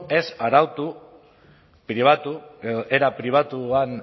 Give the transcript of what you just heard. ez arautu pribatu era pribatuan